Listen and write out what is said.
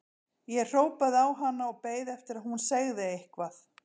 Ég hrópaði á hana og beið eftir að hún segði eitthvað.